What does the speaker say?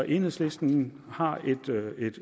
enhedslisten har